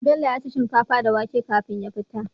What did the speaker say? Bello yaci shinkafa da wake kafin ya fita